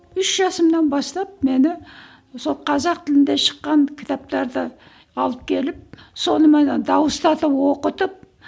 үш жасымнан бастап мені сол қазақ тілінде шыққан кітаптарды алып келіп соныменен дауыстатып оқытып